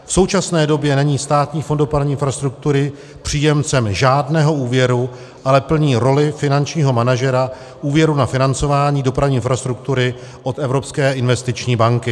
V současné době není Státní fond dopravní infrastruktury příjemcem žádného úvěru, ale plní roli finančního manažera úvěru na financování dopravní infrastruktury od Evropské investiční banky.